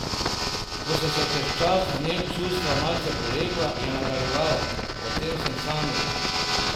Ko so se čez čas v njem čustva malce polegla, je nadaljeval: 'O tem sem sanjal.